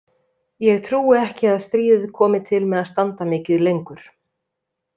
Ég trúi ekki að stríðið komi til með að standa mikið lengur.